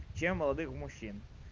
чем молодых мужчин